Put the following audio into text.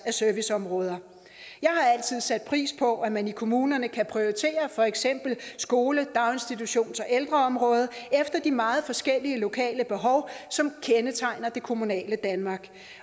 af serviceområder jeg har altid sat pris på at man i kommunerne kan prioritere for eksempel skole daginstitutions og ældreområdet efter de meget forskellige lokale behov som kendetegner det kommunale danmark